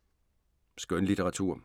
Skønlitteratur